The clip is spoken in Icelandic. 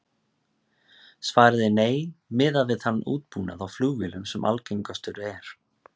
Svarið er nei, miðað við þann útbúnað á flugvélum sem algengastur er.